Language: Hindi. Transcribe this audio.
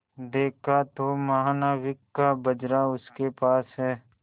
देखा तो महानाविक का बजरा उसके पास है